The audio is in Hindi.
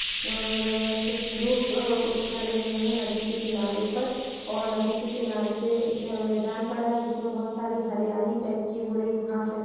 और अ कुछ लुक अ खड़े हुए है नदी के किनारे पर और नदी के किनारे से एक मैदान पड़ा है जिसमे बहुत सारी हरियाली टाइप की हो रही है घास लगी --